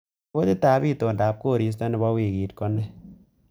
Ripotitab itondab koristo nebo wiikit Kone